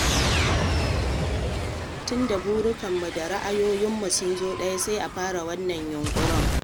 Tun da burikanmu da ra'ayoyinmu sun zo ɗaya sai a fara wannan yunƙuri.